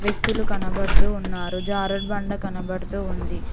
వ్యక్తులు కనబడుతూ వున్నారు జారుడుబండ కనపడుతూ ఉంది.